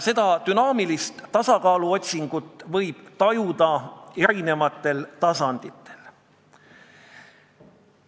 Seda dünaamilist tasakaaluotsingut võib tajuda eri tasanditel.